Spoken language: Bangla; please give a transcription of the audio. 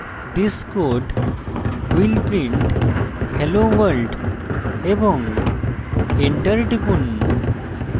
this code will print hello world এবং enter টিপুন